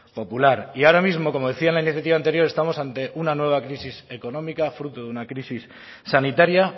popular y ahora mismo como decía en la iniciativa anterior estamos ante una nueva crisis económica fruto de una crisis sanitaria